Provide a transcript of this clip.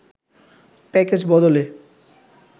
package বদলে